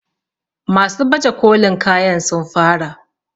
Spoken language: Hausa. masu baje kolin kayan sun fara?